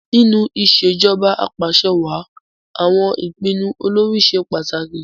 Nínú ìṣèjoba Ap'àṣẹwàá àwọn ìpinnu olórí ṣe pàtàkì